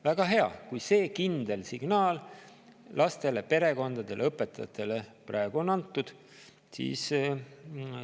Väga hea, kui see kindel signaal lastele, perekondadele ja õpetajatele praegu on antud.